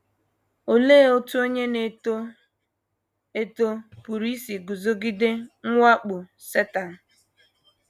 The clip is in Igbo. Olee otú onye na - eto eto pụrụ isi guzogide mwakpo Setan?